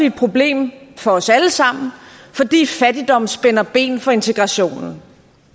et problem for os alle sammen fordi fattigdom spænder ben for integrationen